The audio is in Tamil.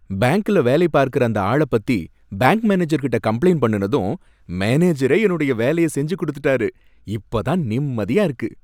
பேங்க்ல வேலை பார்க்கற அந்த ஆள பத்தி பேங்க் மேனேஜர்கிட்ட கம்ப்ளைண்ட் பண்ணுனதும் மேனேஜரே என்னோட வேலைய செஞ்சு கொடுத்துட்டாரு, இப்ப தான் நிம்மதியா இருக்கு